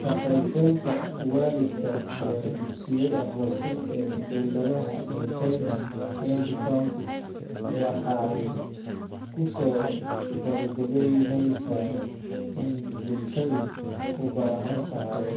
Ka-qaybgalka Waalidka ee Dugsiyada Hoose ee Dadweynaha ee Kenya (Embu County) waxay ku soo gabagabaynaysaa in bulshadu u baahan tahay